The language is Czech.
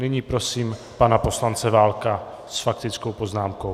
Nyní prosím pana poslance Válka s faktickou poznámkou.